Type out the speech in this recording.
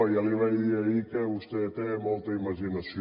ja li vaig dir ahir que vostè té molta imaginació